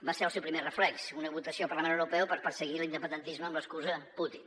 va ser el seu primer reflex una votació al parlament europeu per perseguir l’independentis·me amb l’excusa de putin